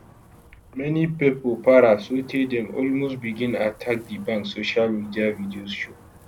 many pipo para sotay dem almost begin attack di bank social media videos show